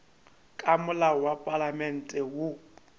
ka molao wa palamente woo